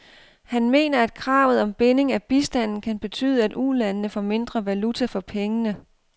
Han mener, at kravet om binding af bistanden kan betyde, at ulandene får mindre valuta for pengene.